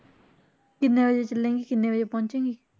ਕਿੰਨੇ ਵਜੇ ਚੱਲੇਂਗੀ, ਕਿੰਨੇ ਵਜੇ ਪਹੁੰਚੇਗੀ?